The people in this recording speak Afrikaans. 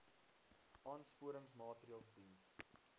aansporingsmaatre ls diens